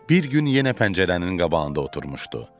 Bir gün yenə pəncərənin qabağında oturmuşdu.